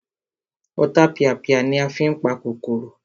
Ọ̀tapìàpìà ni a fí n pa kòkòrò